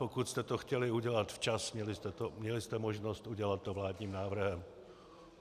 Pokud jste to chtěli udělat včas, měli jste možnost to udělat vládním návrhem.